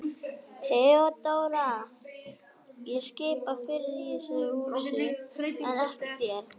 THEODÓRA: Ég skipa fyrir í þessu húsi en ekki þér.